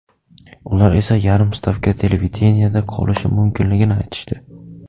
Ular esa yarim stavka televideniyeda qolishim mumkinligini aytishdi.